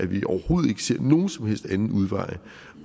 vi overhovedet ikke ser nogen som helst anden udvej